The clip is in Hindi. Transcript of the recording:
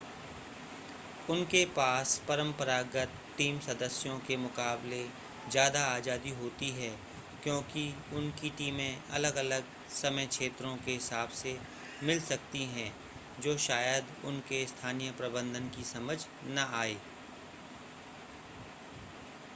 उनके पास परंपरागत टीम सदस्यों के मुकाबले ज़्यादा आज़ादी होती है क्योंकि उनकी टीमें अलग-अलग समय क्षेत्रों के हिसाब से मिल सकती हैं जो शायद उनके स्थानीय प्रबंधन की समझ न आए